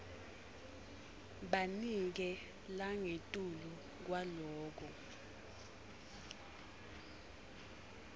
banike langetulu kwaloko